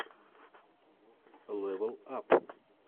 лэвел ап